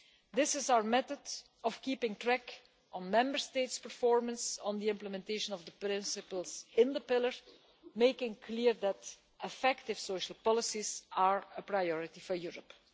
This is our method of keeping track of Member States' performance on the implementation of the principles of the Pillar, making clear that effective social policies are a priority for Europe.